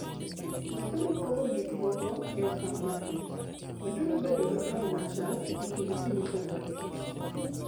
Meduru Pogo Gik Moko e Okang ' Matut: Meduru bedo gi paro machal e kind ji mopogore opogore.